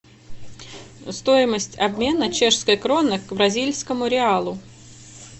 стоимость обмена чешской кроны к бразильскому реалу